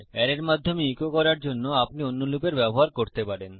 অ্যারের মাধ্যমে ইকো করার জন্য আপনি অন্য লুপের ব্যবহার করতে পারেন